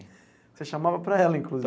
Você chamava para ela,